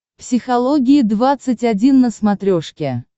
психология двадцать один на смотрешке